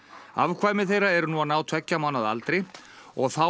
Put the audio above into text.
afkvæmi þeirra eru nú að ná tveggja mánaða aldri og þá